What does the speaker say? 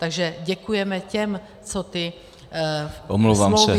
Takže děkujeme těm, co ty smlouvy tehdy podepsali.